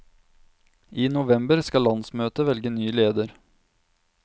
I november skal landsmøtet velge ny leder.